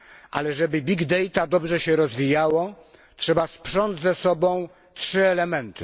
Ale żeby duże zbiory danych dobrze się rozwijały, trzeba sprząc ze sobą trzy elementy.